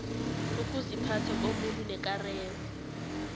ukuziphatha komuntu nekareko